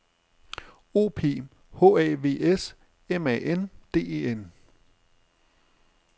O P H A V S M A N D E N